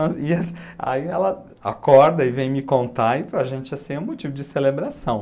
Aí ela acorda e vem me contar e para a gente assim é um motivo de celebração.